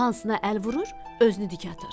Hansına əl vurur, özünü dik atır.